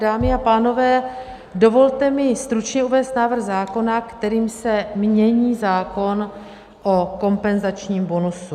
Dámy a pánové, dovolte mi stručně uvést návrh zákona, kterým se mění zákon o kompenzačním bonusu.